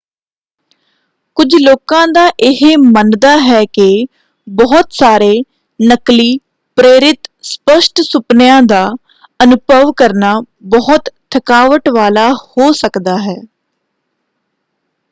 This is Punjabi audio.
ਕੁਝ ਲੋਕਾਂ ਦਾ ਇਹ ਮੰਨਦਾ ਹੈ ਕਿ ਬਹੁਤ ਸਾਰੇ ਨਕਲੀ ਪ੍ਰੇਰਿਤ ਸਪੱਸ਼ਟ ਸੁਪਨਿਆਂ ਦਾ ਅਨੁਭਵ ਕਰਨਾ ਬਹੁਤ ਥਕਾਵਟ ਵਾਲਾ ਹੋ ਸਕਦਾ ਹੈ।